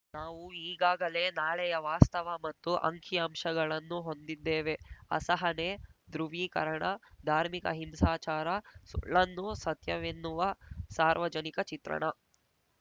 ನಾವು ಈಗಾಗಲೇ ನಾಳೆಯ ವಾಸ್ತವ ಮತ್ತು ಅಂಕಿಅಂಶಗಳನ್ನು ಹೊಂದಿದ್ದೇವೆ ಅಸಹನೆ ಧ್ರುವೀಕರಣ ಧಾರ್ಮಿಕ ಹಿಂಸಾಚಾರ ಸುಳ್ಳನ್ನು ಸತ್ಯವೆನ್ನುವ ಸಾರ್ವಜನಿಕ ಚಿತ್ರಣ